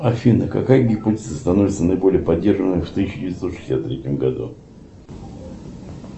афина какая гипотеза становится наиболее поддерживаемой в тысяча девятьсот шестьдесят третьем году